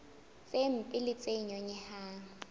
tse mpe le tse nyonyehang